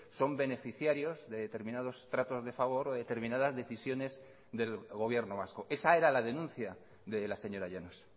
son beneficiarios de determinados tratos de favor o determinadas decisiones del gobierno vasco esa era la denuncia de la señora llanos